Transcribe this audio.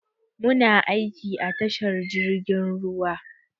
Muna aiki a tashar jirgin ruwa.